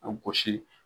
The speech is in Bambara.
A gosi